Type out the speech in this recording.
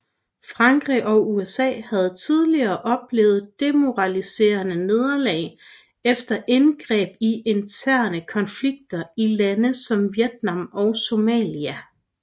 Frankrig og USA havde tidligere oplevet demoraliserende nederlag efter indgreb i interne konflikter i lande som Vietnam og Somalia